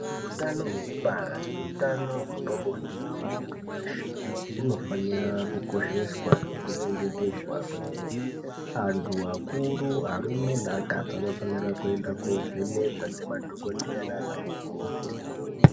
Utano hwekubara neutano hwepabonde hwemunhu weshe unofanira kukosheswa nekuchengetedzwa kwemene antu akuru arume neakadzi anofanira kuenda kovhenekwa nemadhokoteya nanamukoti.